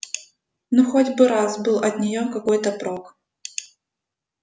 ну хоть бы раз был от нее какой-то прок